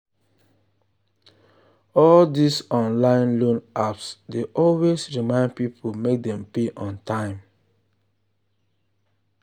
all these online loan apps dey always remind people make dem pay on time.